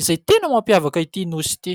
izay tena mampiavaka itỳ nosy itỳ